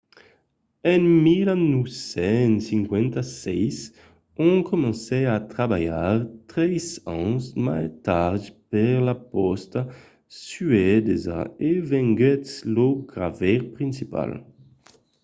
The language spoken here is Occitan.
en 1956 słania s'installèt en suècia ont comencèt a trabalhar tres ans mai tard per la pòsta suedesa e venguèt lor gravaire principal